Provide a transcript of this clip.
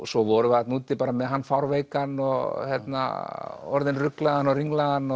svo vorum við þarna úti með hann fárveikan orðinn ruglaðan og ringlaðan og